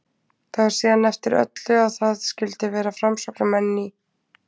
Það var síðan eftir öllu að það skyldu vera framsóknarmenn í